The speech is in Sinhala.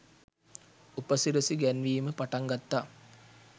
උපසිරසි ගැන්වීම පටන් ගත්තා.